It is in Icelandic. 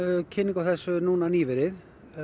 kynningu á þessu núna nýverið